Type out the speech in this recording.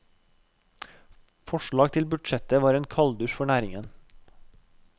Forslaget til budsjett var en kalddusj for næringen.